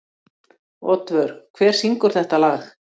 Oddvör, hver syngur þetta lag?